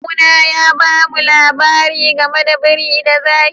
Kawu na ya ba mu labari game da biri da zaki.